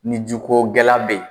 Ni ji ko gɛlɛya be yen